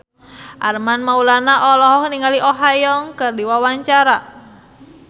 Armand Maulana olohok ningali Oh Ha Young keur diwawancara